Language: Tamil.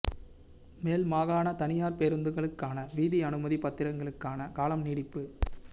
மேல் மாகாண தனியார் பேருந்துகளுக்கான வீதி அனுமதி பத்திரத்திற்கான காலம் நீடிப்பு